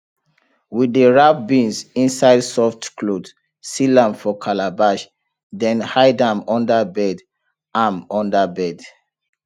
we dey wrap beans inside soft cloth seal am for calabash then hide am under bed am under bed